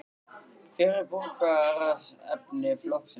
Hver er borgarstjóraefni flokksins?